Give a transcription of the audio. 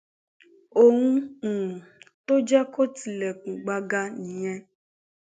ohun um tó jẹ kó tilẹkùn gbaga nìyẹn